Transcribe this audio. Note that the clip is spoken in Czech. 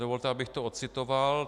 Dovolte, abych to ocitoval.